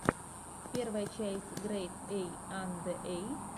первая часть грэйд эй анде эй